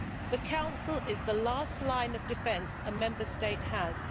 The Council is the last line of defence a Member State has